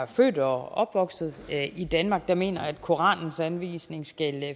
er født og opvokset i danmark der mener at koranens anvisninger skal